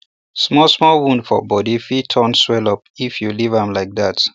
small small wound for body fit turn swellup if you leave am like that